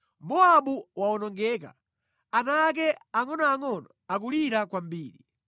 Mowabu wawonongeka; ana ake angʼonoangʼono akulira kwambiri.